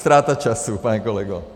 Ztráta času, pane kolego.